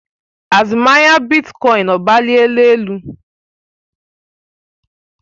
Azụmahịa bitkọin ọgbaliela elu?